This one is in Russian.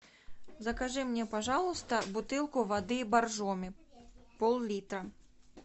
закажи мне пожалуйста бутылку воды боржоми пол литра